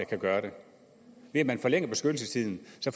kan gøre det ved at man forlænger beskyttelsestiden